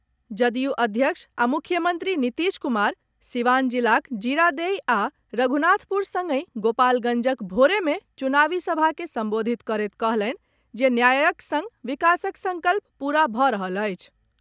जदयू अध्यक्ष आ मुख्यमंत्री नीतीश कुमार सीवान जिलाक जीरादेई आ रघुनाथपुर संगहि गोपालगंजक भोरे मे चुनावी सभा के संबोधित करैत कहलनि जे न्यायक संग विकासक संकल्प पूरा भऽ रहल अछि।